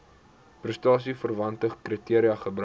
prestasieverwante kriteria gebruik